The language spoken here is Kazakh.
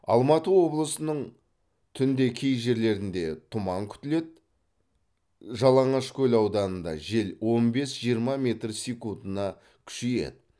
алматы облысының түнде кей жерлерінде тұман күтіледі жалаңашкөл ауданында жел он бес жиырма метр секундына күшейеді